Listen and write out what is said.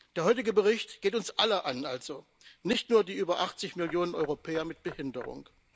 Der heutige Bericht geht uns alle an, also nicht nur die über 80 Millionen Europäer mit Behinderung.